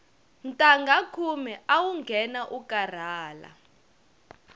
ntangha khume awu nghena u karhala